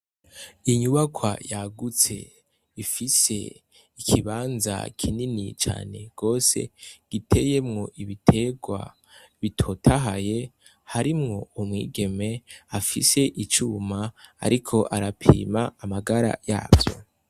Inyubakwa yagutse ifise ikibanza kinini cane gose giteyemwo ibiterwa bitotahaye harimwo umwigeme afise icuma ariko arapima amagara yavyo.